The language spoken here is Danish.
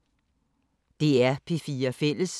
DR P4 Fælles